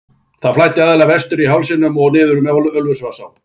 Það flæddi aðallega vestur af hálsinum og niður með Ölfusvatnsá.